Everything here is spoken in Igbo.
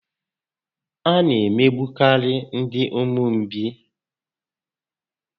A na emegbukarị ndị ụmụ mgbei